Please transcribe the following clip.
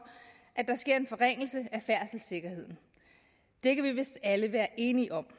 at der sker en forringelse af færdselssikkerheden det kan vi vist alle være enige om